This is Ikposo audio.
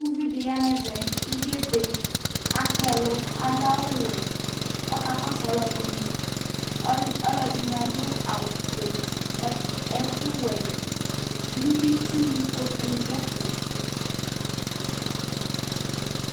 Uvɩ ɖɩ ya nɛvɛ, uvie ebe Akpa ɛlu, uɖu awu wɛ Ɔka kɔ su alu ɛɖɩnɩ, ɔl ɔlu ɖɩnɩ aɖu awu foe ɛ ɛku wɛ Ku ɩtsu kpoku nɩ ɖu ɛfɛ